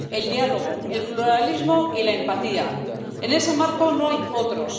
El diálogo, el pluralismo y la empatía. En ese marco no hay otros.